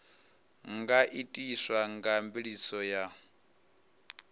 nga itiswa nga mveledziso ya